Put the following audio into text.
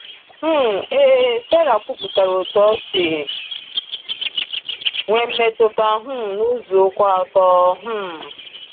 um Ee, Sera kwuputara otú o si nwee mmetụta um n’ụzọ kwụ ọtọ. um